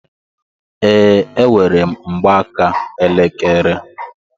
Ee, enwerem mgbaaka elekere